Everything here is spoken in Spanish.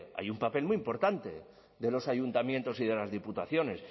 hay un papel muy importante de los ayuntamientos y de las diputaciones